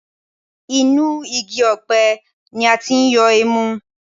Inú igi ọ̀pẹ ni a ti yọ ẹmu